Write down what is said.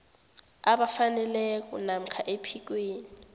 abafaneleko namkha ephikweni